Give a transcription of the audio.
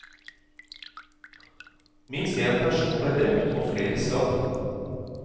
Minst én person ble drept, og flere skadd.